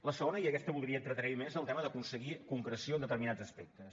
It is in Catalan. el segon i en aquest voldria entretenir m’hi més és el tema d’aconseguir concreció en determinats aspectes